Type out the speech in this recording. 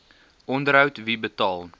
onderhoud wie betaal